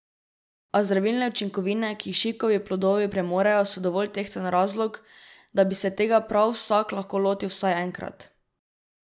A zdravilne učinkovine, ki jih šipkovi plodovi premorejo, so dovolj tehten razlog, da bi se tega prav vsak lahko lotil vsaj enkrat.